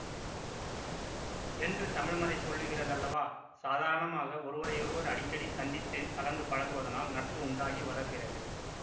என்று தமிழ்மறை சொல்லுகிறதல்லவா சாதாரணமாக ஒருவரையொருவர் அடிக்கடி சந்தித்து கலந்து பழகுவதனால் நட்பு உண்டாகி வளர்கிறது